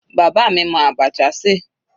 Bàbá mi mọ abacha ṣe.